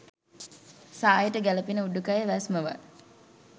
සායට ගැළපෙන උඩුකය වැස්මවල්